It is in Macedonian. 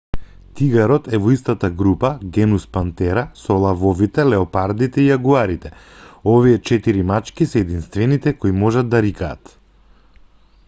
тигарот е во истата група genus panthera со лавовите леопардите и јагуарите. овие четири мачки се единствените кои можат да рикаат